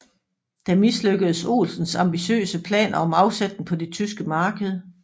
Der mislykkedes Olsens ambitiøse planer om afsætning på det tyske marked